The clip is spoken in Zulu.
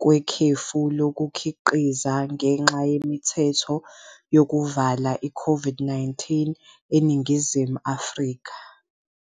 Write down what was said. kwekhefu lokukhiqiza ngenxa yemithetho yokuvala i-COVID-19 eNingizimu Afrika.